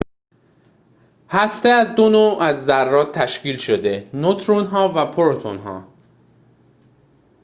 هسته از دو نوع از ذرات تشکیل شده نوترون‌ها و پروتون‌ها